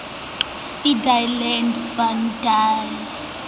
in die land wat die